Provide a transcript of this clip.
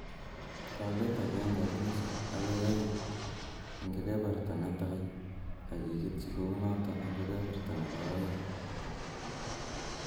Lolet agenge ak nusu agoi oeng eng kebeberta netai ak iketchi kounoto eng kebeberta nebo oeng